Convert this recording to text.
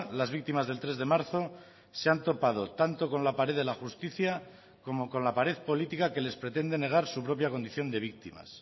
las víctimas del tres de marzo se han topado tanto con la pared de la justicia como con la pared política que les pretende negar su propia condición de víctimas